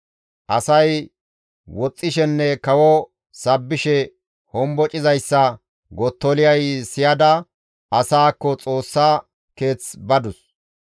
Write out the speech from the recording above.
Asay woxxishenne kawo sabbishe hombocizayssa Gottoliyay siyada asaakko Xoossa Keeth badus.